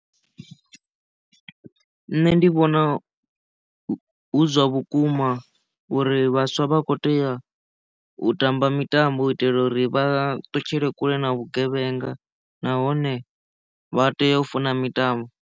Nṋe ndi vhona hu zwa vhukuma uri vhaswa vha kho tea u tamba mitambo u itela uri vha ṱutshele kule na vhugevhenga nahone vha tea u funa mitambo.